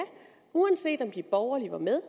uanset om de borgerlige var med